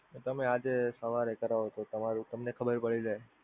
તમે આજે સવારે કરાવો તો તમારું તમને ખબર પડી જાય.